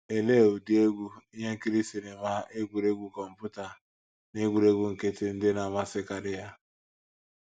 Olee ụdị egwú, ihe nkiri sinima, egwuregwu kọmputa, na egwuregwu nkịtị ndị na - amasịkarị ya?